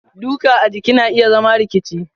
duka a jiki na iya zama rikici.